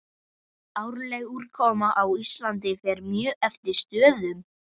Árleg úrkoma á Íslandi fer mjög eftir stöðum.